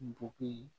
Bokoyi